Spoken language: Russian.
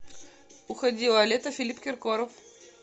уходило лето филипп киркоров